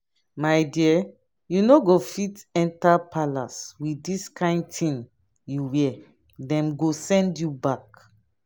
my dear you no go fit enter palace with dis kyn thing you wear dem go send you back